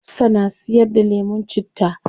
Hafsah na siyar da lemun citta